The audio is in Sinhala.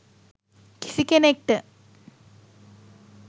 කිසි කෙනෙක්ට